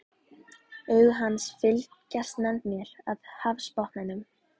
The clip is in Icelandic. Augu hans fylgjast með mér af hafsbotninum.